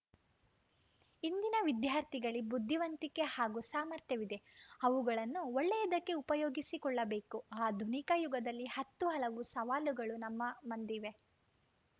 ಇಂದಿನ ವಿದ್ಯಾರ್ಥಿಗಳಲ್ಲಿ ಬುದ್ದಿವಂತಿಕೆ ಹಾಗೂ ಸಾಮರ್ಥ್ಯವಿದೆ ಅವುಗಳನ್ನು ಒಳ್ಳೆಯದಕ್ಕೆ ಉಪಯೋಗಿಸಿಕೊಳ್ಳಬೇಕು ಆಧುನಿಕ ಯುಗದಲ್ಲಿ ಹತ್ತು ಹಲವು ಸವಾಲುಗಳು ನಮ್ಮ ಮಂದಿವೆ